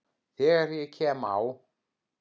Þegar ég kem á